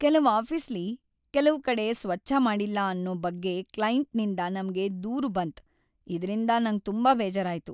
ಕೆಲವ್ ಆಫೀಸ್ಲಿ ಕೆಲವ್ ಕಡೆ ಸ್ವಚ್ಛ ಮಾಡಿಲ್ಲ ಅನ್ನೋ ಬಗ್ಗೆ ಕ್ಲೈಂಟ್‌ನಿಂದ್ ನಮ್ಗೆ ದೂರು ಬಂತ್ ಇದ್ರಿಂದ ನಂಗ್ ತುಂಬಾ ಬೇಜಾರಾಯ್ತು.